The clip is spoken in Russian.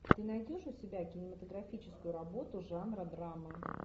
ты найдешь у себя кинематографическую работу жанра драма